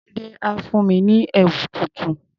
Tunde á fún mi ní ẹ̀wù tuntun.